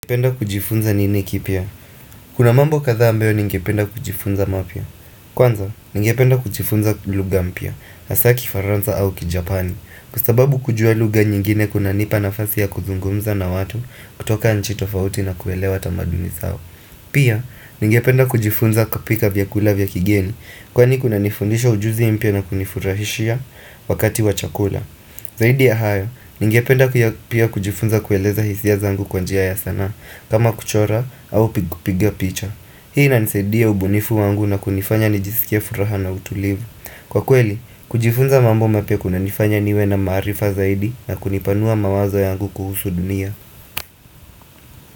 Ningependa kujifunza nini kipya Kuna mambo kadhaa ambayo ningependa kujifunza mapya Kwanza, ningependa kujifunza lugha mpya Hasa kiFaranza au kijapani Kwa sababu kujua lugha nyingine kuna nipa nafasi ya kuzungumza na watu kutoka nchi tofauti na kuelewa tamaduni zao Pia, ningependa kujifunza kupika vyakula vya kigeni Kwani kuna nifundisha ujuzi mpya na kunifurahishia Wakati wa chakula Zaidi ya hayo, ningependa pia kujifunza kueleza hisia zangu kwa njia ya sanaa kama kuchora au piga picha Hii inanisaidia ubunifu wangu na kunifanya nijisikie furaha na utulivu Kwa kweli, kujifunza mambo mapya kuna nifanya niwe na maarifa zaidi na kunipanua mawazo yangu kuhusu dunia.